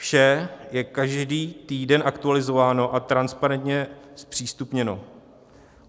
Vše je každý týden aktualizováno a transparentně zpřístupněno.